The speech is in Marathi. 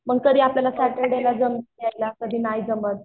मग कधी आपल्याला सॅटर्डे ला जमत यायला कधी नाय जमत